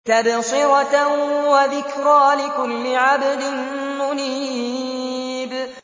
تَبْصِرَةً وَذِكْرَىٰ لِكُلِّ عَبْدٍ مُّنِيبٍ